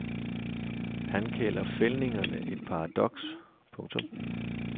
Han kalder fældningerne et paradoks. punktum